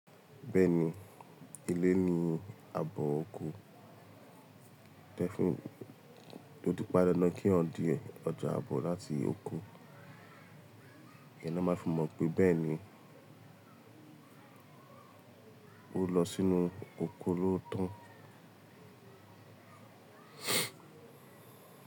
Bẹ́ẹ̀ni, ilé ní abọ́ oko. Tẹ fun, ó ti pan dandan kí eyan di ọjà abọ́ láti oko, ìyẹn ni wọ́n máa fún mọ̀ pé bẹ́ẹ̀ ni ó lọ sínú oko lootọ.